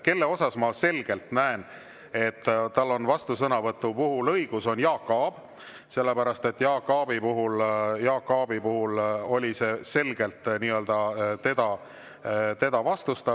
Kelle puhul ma selgelt näen, et tal on vastusõnavõtuõigus, on Jaak Aab, sest Jaak Aabi puhul oli see selgelt teda vastustav.